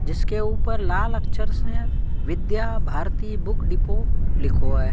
जिसके ऊपर लाल अक्षर से विद्या भारती बुक डिपो लिखो है।